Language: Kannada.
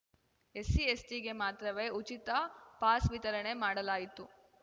ಎಸ್ಸಿಎಸ್‌ಟಿಗೆ ಮಾತ್ರವೇ ಉಚಿತ ಪಾಸ್‌ ವಿತರಣೆ ಮಾಡಲಾಯಿತು